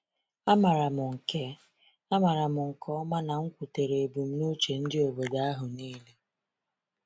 A maram nke A maram nke ọma na m kwutere ebumnuche ndị obodo ahụ niile.